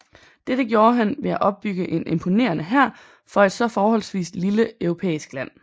Dette gjorde han ved at opbygge en imponerende hær for et så forholdsvis lille europæisk land